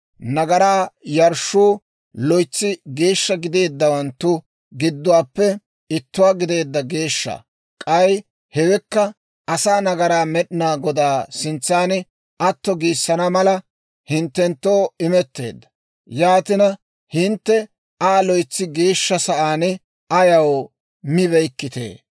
«Nagaraa yarshshuu loytsi geeshsha gideeddawanttu giduwaappe ittuwaa gideedda geeshsha; k'ay hewekka asaa nagaraa Med'inaa Godaa sintsan atto giissana mala hinttenttoo imetteedda; yaatina hintte Aa loytsi geeshsha sa'aan ayaw mibeykkitee?